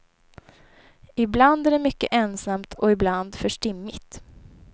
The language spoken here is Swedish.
Ibland är det mycket ensamt och ibland för stimmigt.